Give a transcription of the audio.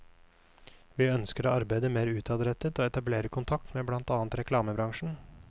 Vi ønsker å arbeide mer utadrettet og etablere kontakt med blant annet reklamebransjen.